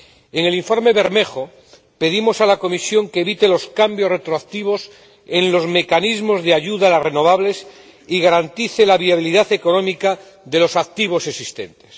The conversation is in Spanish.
En el informe Bermejo, pedimos a la Comisión que evite los cambios retroactivos en los mecanismos de ayuda a las renovables y garantice la viabilidad económica de los activos existentes.